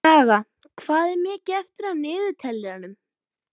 Saga, hvað er mikið eftir af niðurteljaranum?